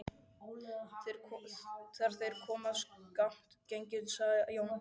Þegar þeir höfðu skammt gengið sagði Jón Ásbjarnarson